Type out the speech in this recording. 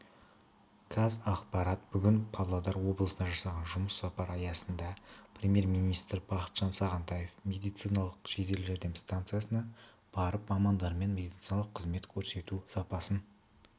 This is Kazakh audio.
қазақпарат бүгін павлодар облысына жасаған жұмыс сапары аясында премьер-министрі бақытжан сағынтаев медициналық жедел жәрдем станциясына барып мамандармен медициналық қызмет көрсету сапасын